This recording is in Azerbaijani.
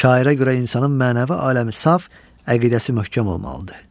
Şairə görə insanın mənəvi aləmi saf, əqidəsi möhkəm olmalıdır.